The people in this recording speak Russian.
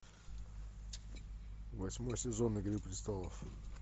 восьмой сезон игры престолов